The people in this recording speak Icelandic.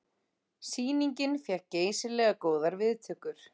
Sýningin fékk geysilega góðar viðtökur